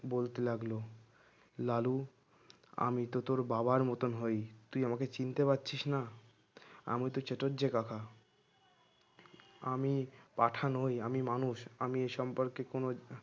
বলতে লাগলো লালু আমি তো তোর বাবার মত হই তুই আমাকে চিনতে পারছিস না আমি তোর চাটুর্জে যে কাকা আমি পাঁঠা নোই আমি মানুষ আমি সম্পর্কে তোমার